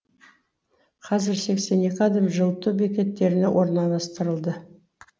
қазір сексен екі адам жылыту бекеттеріне орналастырылды